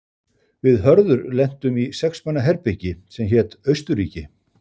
Við Hörður lentum í sex manna herbergi sem hét Austurríki.